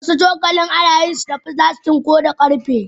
Wasu cokali ana yin su da filastik wasu kuma na karfe.